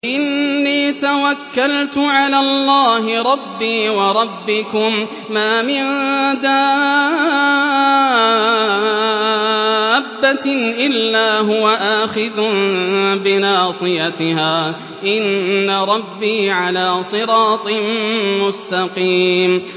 إِنِّي تَوَكَّلْتُ عَلَى اللَّهِ رَبِّي وَرَبِّكُم ۚ مَّا مِن دَابَّةٍ إِلَّا هُوَ آخِذٌ بِنَاصِيَتِهَا ۚ إِنَّ رَبِّي عَلَىٰ صِرَاطٍ مُّسْتَقِيمٍ